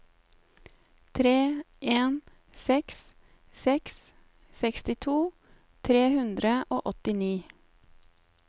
tre en seks seks sekstito tre hundre og åttini